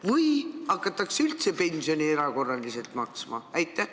Või hakatakse pensioni üldse erakorraliselt maksma?